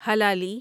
Hilali